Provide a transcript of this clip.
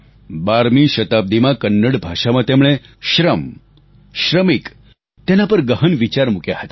12મી શતાબ્દીમાં કન્નડ ભાષામાં તેમણે શ્રમ શ્રમિક તેના પર ગહન વિચાર મૂક્યા હતા